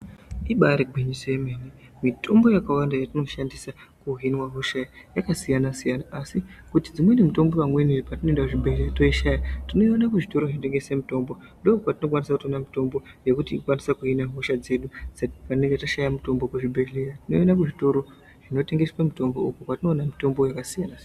Ibaari gwinyiso yenene mitombo yakawanda yetinoshandisa kuhinwa hosha yakasiyana siyana. Asi kuti dzimweni mitombo vamweni patinoenda kuzvibhedhlera toishaya tinoiona kuzvitoro zvinotengese mitombo . Ndokwetinokwanisa kuona mitombo yekuti ukwanise kuhina hosha dzedu patinenge tashaya mitombo kuzvibhedhleya tinoione kuzvitoro zvinotengeswe mitombo uko kwatinoona mitombo yakasiyana-siyana.